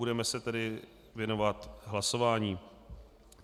Budeme se tedy věnovat hlasování.